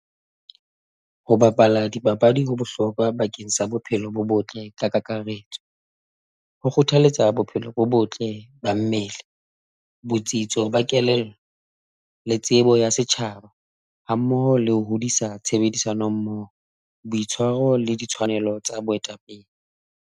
Ho bapala dipapadi ho bohlokwa bakeng sa bophelo bo botle ka kakaretso ho kgothaletsa bophelo bo botle ba mmele, botsitso ba kelello le tsebo ya setjhaba, ha mmoho le ho hodisa tshebedisano mmoho, boitshwaro le ditshwanelo tsa boetapele.